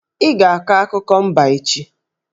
Ị ga-akọ akụkọ mba echi!